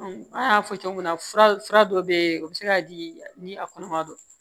an y'a fɔ cogo min na fura dɔ be yen o bi se ka di ni a kɔnɔma don